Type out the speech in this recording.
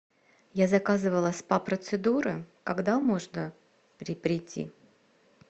я заказывала спа процедуры когда можно придти